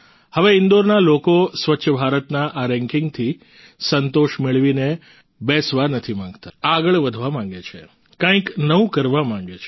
હવે ઈન્દોરના લોકો સ્વચ્છ ભારતના આ રેંકિંગથી સંતોષ મેળવીને બેસવા નથી માંગતા આગળ વધવા માગે છે કંઈક નવું કરવા માગે છે